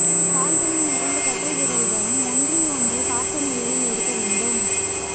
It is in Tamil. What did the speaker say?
கால்களின் இரண்டு கட்டை விரல்களும் ஒன்றை ஒன்று பார்த்த நிலையில் இருக்க வேண்டும்